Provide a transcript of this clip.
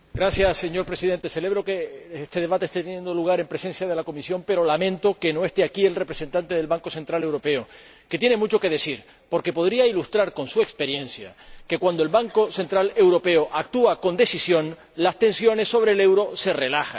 Señor Presidente, celebro que este debate esté teniendo lugar en presencia de la Comisión, pero lamento que no esté aquí el representante del Banco Central Europeo, que tiene mucho que decir, porque podría ilustrar con su experiencia que, cuando el Banco Central Europeo actúa con decisión, las tensiones sobre el euro se relajan.